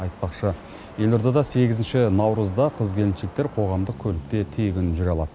айтпақшы елордада сегізінші наурызда қыз келіншектер қоғамдық көлікте тегін жүре алады